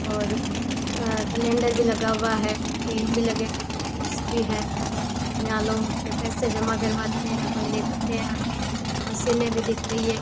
और कैलेंडर भी लगा हुआ है पेन भी लगे हुए हैं भी है यहां लोग अपने पैसे जमा करवाते हैं कोई लेते हैं मशीनें भी दिख रही हैं।